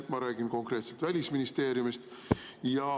Ma räägin konkreetselt Välisministeeriumist.